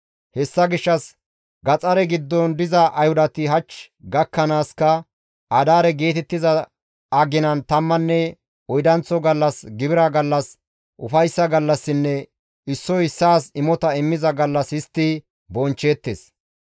Hessa gishshas gaxare giddon diza Ayhudati hach gakkanaaska Adaare geetettiza aginan tammanne oydanththo gallas gibira gallas, ufayssa gallassinne issoy issaas imota immiza gallas histti bonchcheettes.